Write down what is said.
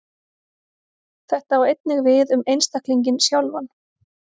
Þetta á einnig við um einstaklinginn sjálfan.